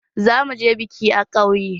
Za mu je biki a ƙauye.